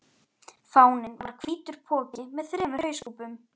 Fáninn var hvítur poki með þremur hauskúpum.